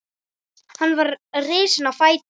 Hann var risinn á fætur.